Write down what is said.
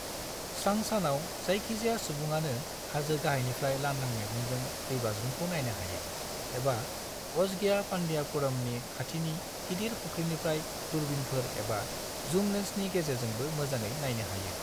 स्रां सानाव, जायखिजाया सुबुङानो हाजो गाहायनिफ्राय लांदां मेगनजों दैबाज्रुमखौ नायनो हायो, एबा अजगियापांडियापुरमनि खाथिनि गिदिर फुख्रिनिफ्राय दूर्बिनफोर एबा जुम लेन्सनि गेजेरजोंबो मोजाङै नायनो हायो।